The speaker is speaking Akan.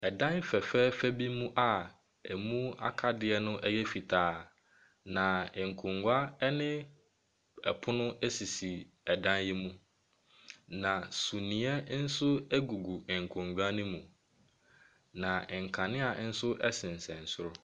Ɛdan fɛfɛɛfɛ bi mu a emu akadeɛ ɛyɛ fitaa. Na nkonwa ɛne ɛpono esisi ɛdan yi mu. Na sumiɛ nso egugu ɛnkonwa no mu. Na nkanea ɛnso ɛsensɛn soro.